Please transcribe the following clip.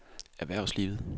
erhvervslivet